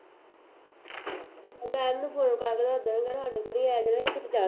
madam ਨੂੰ phone ਕਰ ਦਿਉ, ਸਾਡੇ ਕੋਲ ਹੀ ਆਇਆ ਕੁੱਝ ਜ਼ਿਆਦਾ